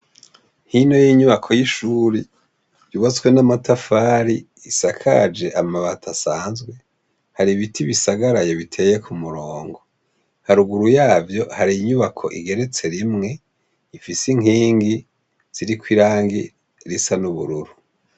Hino y'inyubako y'ishure yubatswe n'amatafari isakaje amabati asanzwe hari ibiti bisagaraye bitonze ku murongo. Haruguru yavyo hari inyubako igeretse rimwe ifise inkingi ziriko irangi risa n'ubururu.